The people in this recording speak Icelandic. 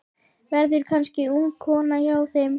Verður kannski ung kona hjá þeim.